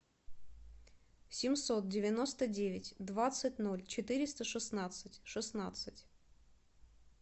семьсот девяносто девять двадцать ноль четыреста шестнадцать шестнадцать